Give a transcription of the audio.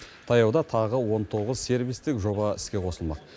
таяуда тағы он тоғыз сервистік жоба іске қосылмақ